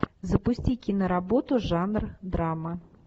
запусти киноработу жанр драма